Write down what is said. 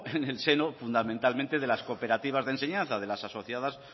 en el seño fundamentalmente de las cooperativas de enseñanza de las asociadas